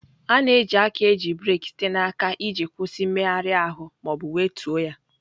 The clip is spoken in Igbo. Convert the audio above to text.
A na-eji aka eji breeki site n'aka iji kwụsị mmegharị ahụ ma ọ bụ wetuo ya.